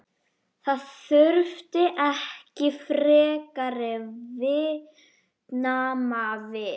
Það þurfti ekki frekari vitnanna við.